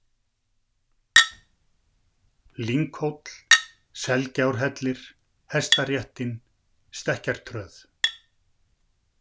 Lynghóll, Selgjárhellir, Hestaréttin, Stekkjartröð